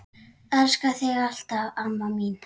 Elska þig alltaf, amma mín.